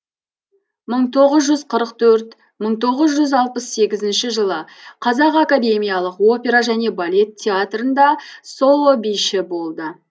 мың тоғыз жүз қырық төрт мың тоғыз жүз алпыс сегізінші жылы қазақ академиялық опера және балет театрында соло биші болды